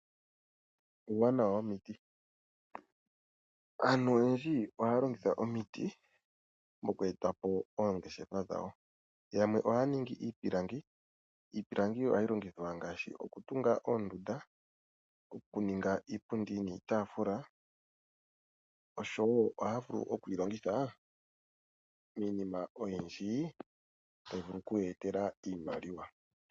Uuwanawa womiti, aantu oyendji oha ya longitha omiti mokweetapo oongeshefa dhawo yamwe ohaya ningi iipilangi. Iipilangi yo oha yi longithwa ngaashi okutunga oondunda, okuninga iipundi niitafula oshowo oha ya vulu okuyi longitha miinima oyindji tayi vulu okuyeetela iimaliwa.